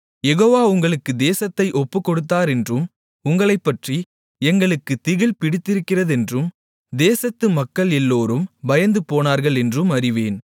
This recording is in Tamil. யெகோவா உங்களுக்கு தேசத்தை ஒப்புக்கொடுத்தாரென்றும் உங்களைப்பற்றி எங்களுக்குத் திகில் பிடித்திருக்கிறதென்றும் தேசத்து மக்கள் எல்லோரும் பயந்துபோனார்களென்றும் அறிவேன்